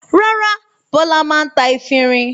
Rárá, Bọ́lá máa ń ta efirin.